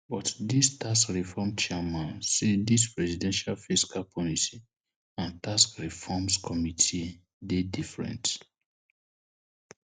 but di tax reform chairman say dis presidential fiscal policy and tax reforms committee dey different